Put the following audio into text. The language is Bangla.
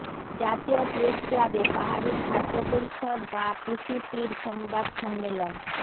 জাতীয় প্রেসক্লাবে পাহাড়ি ছাত্র পরিষদ বা পিসিপির সংবাদ সম্মেলন